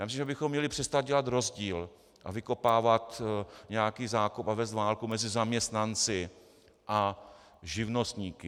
Já myslím, že bychom měli přestat dělat rozdíl a vykopávat nějaký zákop a vést válku mezi zaměstnanci a živnostníky.